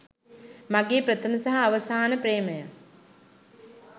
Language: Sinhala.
මගේ ප්‍රථම සහ අවසාන ප්‍රේමය.